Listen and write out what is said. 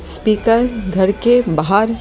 speaker घर के बाहर--